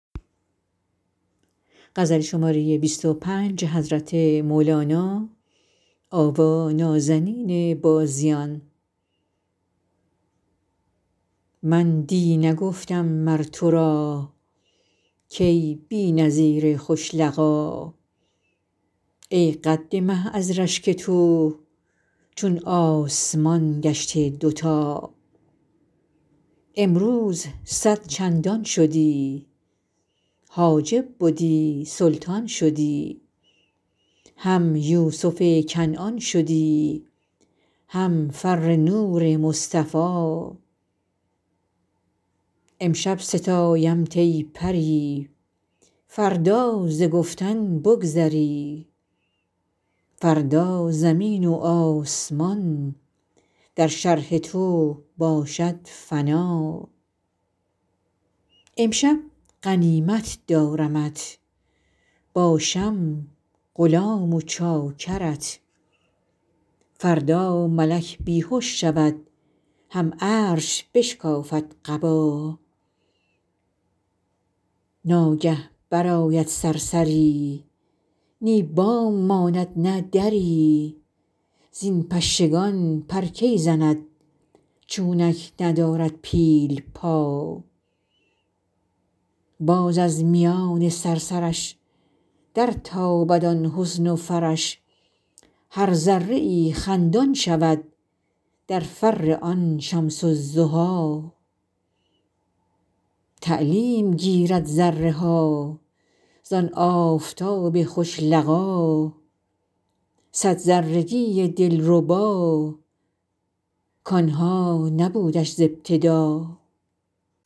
من دی نگفتم مر تو را کای بی نظیر خوش لقا ای قد مه از رشک تو چون آسمان گشته دوتا امروز صد چندان شدی حاجب بدی سلطان شدی هم یوسف کنعان شدی هم فر نور مصطفی امشب ستایمت ای پری فردا ز گفتن بگذری فردا زمین و آسمان در شرح تو باشد فنا امشب غنیمت دارمت باشم غلام و چاکرت فردا ملک بی هش شود هم عرش بشکافد قبا ناگه برآید صرصری نی بام ماند نه دری زین پشگان پر کی زند چونک ندارد پیل پا باز از میان صرصرش درتابد آن حسن و فرش هر ذره ای خندان شود در فر آن شمس الضحی تعلیم گیرد ذره ها زان آفتاب خوش لقا صد ذرگی دلربا کان ها نبودش ز ابتدا